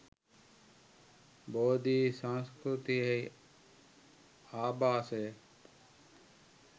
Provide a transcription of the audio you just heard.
බෝධි සංස්කෘතියේ ආභාසය